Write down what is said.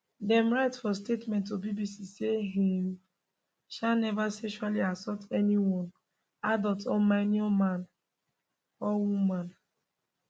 dem write for statement to bbc say im um never sexually assault anyone adult or minor man or um woman